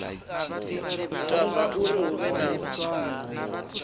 ita zwauri hu vhe na